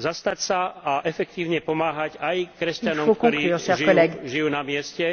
zastať sa a efektívne pomáhať aj kresťanom, ktorí žijú na mieste.